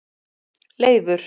Leifur